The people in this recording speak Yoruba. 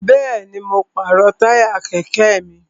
Bẹ́ẹ̀ni, mo pàrọ̀ táyà kẹ̀kẹ́ mi